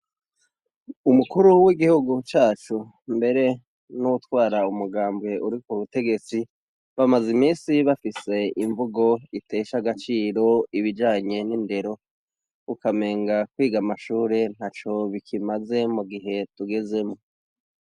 Umukuru w'igihugu cacu mbere n'uwutwara umugambwe uri k'ubutegetsi bamaze imisi bafise imvugo itesha agaciro ibijanye n'indero ukamenga kwiga amashure ntaco bikimaze mugihe tugezemwo.